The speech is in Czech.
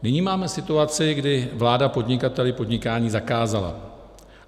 Nyní máme situaci, kdy vláda podnikateli podnikání zakázala.